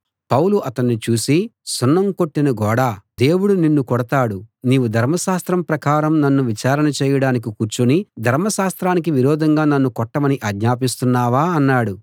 పౌలు అతణ్ణి చూసి సున్నం కొట్టిన గోడా దేవుడు నిన్ను కొడతాడు నీవు ధర్మశాస్త్రం ప్రకారం నన్ను విచారణ చేయడానికి కూర్చుని ధర్మశాస్త్రానికి విరోధంగా నన్ను కొట్టమని ఆజ్ఞాపిస్తున్నావా అన్నాడు